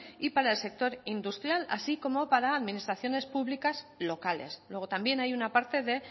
y para el sector industrial así como para administraciones públicas locales luego también hay una parte de